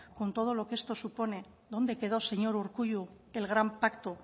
con todo lo que esto supone dónde quedó señor urkullu el gran pacto